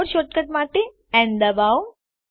keyboard shortcut માટે ન ડબાઓ